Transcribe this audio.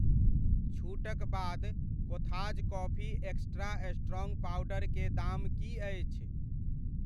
छूटक बाद कोथाज़ कॉफ़ी एक्स्ट्रा स्ट्रॉन्ग पाउडर के दाम की अछि ?